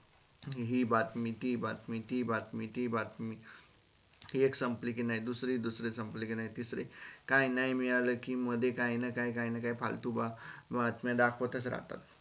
हे बातमी ती बातमी ती बातमी ती बातमी एक संपली कि नाही दुसरी संपली कि नाई तिसरी काय नाय मिळाल कि मध्ये काही ना काय काही ना काय फालतू बातम्या दाखवत च राहतात.